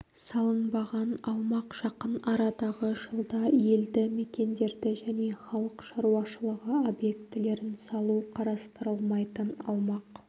салынбаған аумақ жақын арадағы жылда елді мекендерді және халық шаруашылығы объектілерін салу қарастырылмайтын аумақ